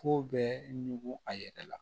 Ko bɛ ɲugu a yɛrɛ la